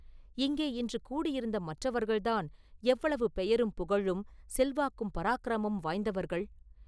இங்கே இன்று கூடியிருந்த மற்றவர்கள்தான் எவ்வளவு பெயரும் புகழும் செல்வாக்கும் பராக்கிரமமும் வாய்ந்தவர்கள்?